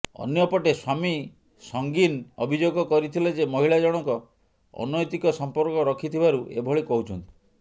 ଅନ୍ୟପଟେ ସ୍ବାମୀ ସଂଗିନ ଅଭିଯୋଗ କରିଥିଲେ ଯେ ମହିଳା ଜଣକ ଅନ୘ତିକ ସଂପର୍କ ରଖିଥିବାରୁ ଏଭଳି କହୁଛନ୍ତି